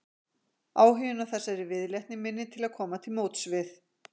Áhuginn á þessari viðleitni minni til að koma til móts við